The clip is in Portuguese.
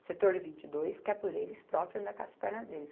O setor vinte e dois quer por eles próprio andar com as perna deles.